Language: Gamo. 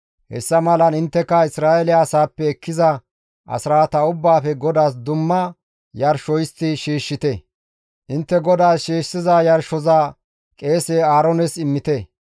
Hessa malan intteka Isra7eele asaappe ekkiza asraata ubbaafe GODAAS dumma yarsho histti shiishshite; intte GODAAS shiishshiza yarshoza qeese Aaroones immite.